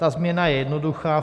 Ta změna je jednoduchá.